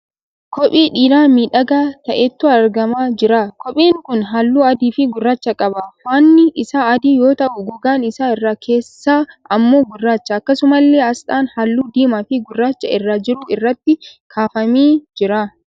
Kophee dhiiraa miidhagaa ta'etu argamaa jira. Kopheen kun halluu adii fi gurraacha qaba. Faannii isaa adii yoo ta'u gogaan isaa irra keessaa ammoo gurraacha. Akkasumallee asxaan halluu diimaa fi gurraachi irra jiru irratti kaafamee jira.